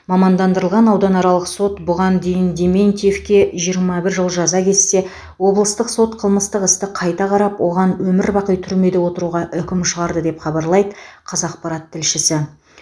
мамандандырылған ауданаралық сот бұған дейін дементьевке жиырма бір жыл жаза кессе облыстық сот қылмыстық істі қайта қарап оған өмірбақи түрмеде отыруға үкім шығарды деп хабарлайды қазақпарат тілшісі